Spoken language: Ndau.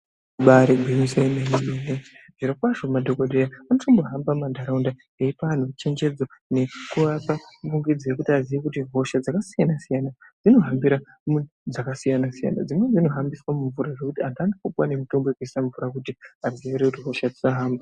Ibaari gwinyiso yemene-mene zvirokwazvo madhokodheya anotombohamba mumantaraunda eipa antu chenjedzo nekuvapa pungidzo yekuti aziye kuti hosha dzakasiyana-siyana dzinohambira mu dzakasiyana-siyana. Dzimweni dzinohambiswa mumvura zvekuti amweni anotopuwa nemitombo dzekuise mumvura kuti adziirire kuti hosha dzisahamba.